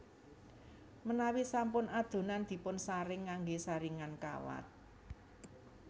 Menawi sampun adonan dipunsaring nganggé saringan kawat